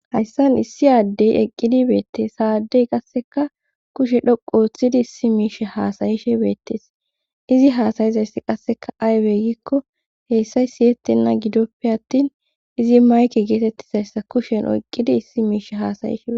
hayssan issi addey eqqidibeettes saadey qasseka kushe dhoqu ooththidi issi miish haasayishebeetees izi hasayizayss qasseka aybe gikko heessay siyettenna gidoppe attin izi mayke geetettizayssa kushen oyqqidi issi miish hasayishin